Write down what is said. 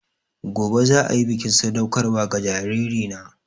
Gobe ​​za a yi bikin sadaukarwa ga jaririna